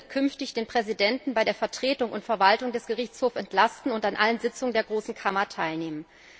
Dieser wird künftig den Präsidenten bei der Vertretung und Verwaltung des Gerichtshofs entlasten und an allen Sitzungen der Großen Kammer teilnehmen.